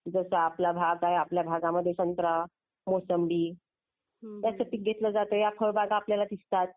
जसा आपला भाग आहे आपल्या भागामध्ये संत्रा. मोसंबी. याचा पीक घेतलं जातं. आपल्याला हे पीक दिसतात.